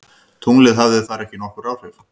Tunglið hafði þar ekki nokkur áhrif.